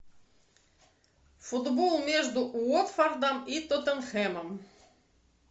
футбол между уотфордом и тоттенхэмом